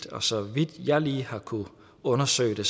og så vidt jeg lige har kunnet undersøge det